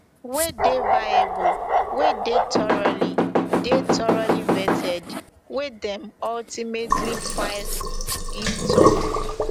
wey dey viable wey dey thoroughly dey thoroughly vetted wey dem ultimately file im tok